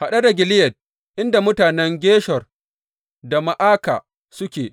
Haɗe da Gileyad, inda mutanen Geshur da Ma’aka suke.